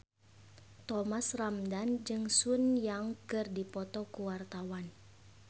Thomas Ramdhan jeung Sun Yang keur dipoto ku wartawan